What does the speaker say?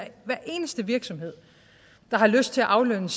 eneste virksomhed der har lyst til aflønne